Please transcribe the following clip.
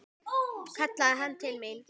kallaði hann til mín.